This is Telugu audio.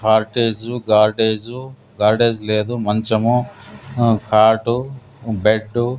హార్టేజు గార్డైజ్ గార్డైజ్ లేదు మంచము ఆ కాటు బెడ్డు .